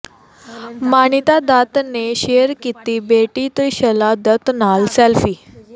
ਮਾਨਿਅਤਾ ਦੱਤ ਨੇ ਸ਼ੇਅਰ ਕੀਤੀ ਬੇਟੀ ਤ੍ਰੀਸ਼ਾਲਾ ਦੱਤ ਨਾਲ ਸੈਲਫੀ